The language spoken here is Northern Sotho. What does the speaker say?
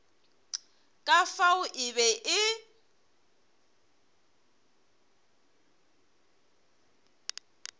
ka fao e be e